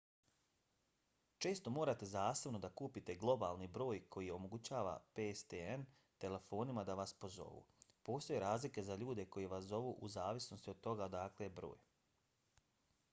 često morate zasebno da kupite globalni broj koji omogućava pstn telefonima da vas pozovu. postoje razlike za ljude koji vas zovu u zavisnosti od toga odakle je broj